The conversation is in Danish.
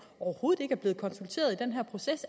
overhovedet ikke er blevet konsulteret i den her proces